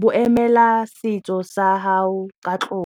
bo emela setso sa gao ka tlotlo.